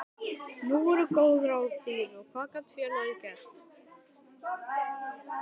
Nú voru góð ráð dýr og hvað gat félagið gert?